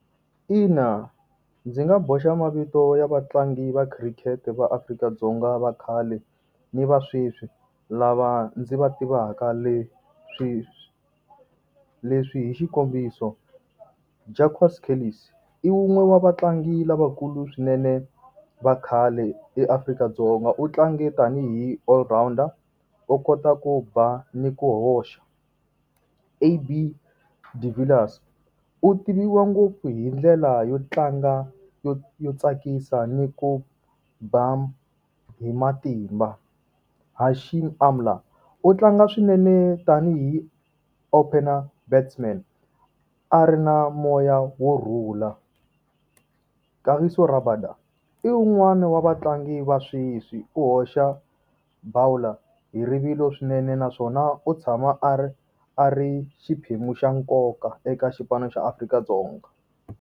Ina ndzi nga boxa mavito ya vatlangi va khirikhete va Afrika-Dzonga va khale ni va sweswi lava ndzi va tivaka, leswi leswi i xikombiso, Jacques Kallis. I wun'we wa vatlangi lavakulu swinene va khale eAfrika-Dzonga. U tlange tanihi all rounder, u kota ku ba ni ku hoxa. AB De Villiers, u tiviwa ngopfu hi ndlela yo tlanga yo yo tsakisa ni ku ba hi matimba. Hashim Amla, u tlanga swinene tanihi opener batsman. A ri na moya wu rhula. Kagiso Rabada, i wun'wani wa vatlangi va sweswi, u hoxa bowler hi rivilo swinene naswona u tshama a ri a ri xiphemu xa nkoka eka xipano xa Afrika-Dzonga.